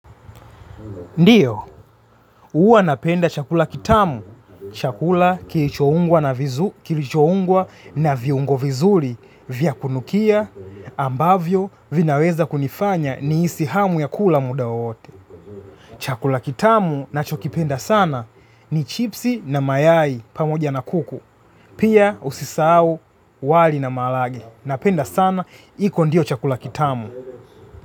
Ndio huwa napenda chakula kitamu. Chakula kilichoungwa na viungo vizuri vya kunukia ambavyo vinaweza kunifanya ni hisi hamu ya kula muda wowote. Chakula kitamu nacho kipenda sana ni chipsi na mayai pamoja na kuku. Pia usisau wali na maharagwe. Napenda sana, hiko ndiyo chakula kitamu.